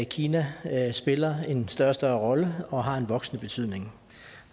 kina spiller en større og større rolle og har en voksende betydning